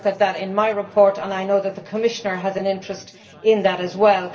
I look at that in my report, and I know that the Commissioner has an interest in that as well.